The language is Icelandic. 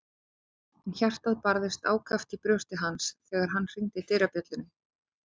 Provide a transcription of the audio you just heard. En hjartað barðist ákaft í brjósti hans þegar hann hringdi dyrabjöllunni.